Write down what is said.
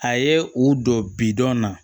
A ye u don bidɔn na